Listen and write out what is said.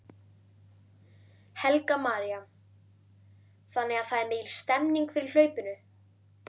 Helga María: Þannig að það er mikil stemning fyrir hlaupinu?